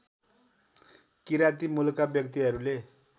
किराँती मूलका व्यक्तिहरूले